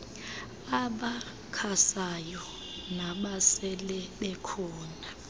abakhasayo nabasele bekhona